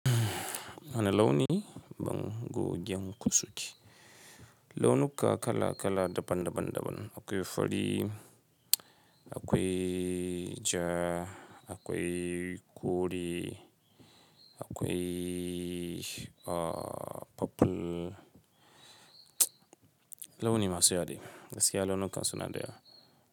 Wani launi ban go gin kusuke? Launuka kala kala daban daban daban. Akwai fari, akwai ja, akwai kore, akwai, uh, purple. Launi masu yadi. Gaskiya launukan suna da yawa.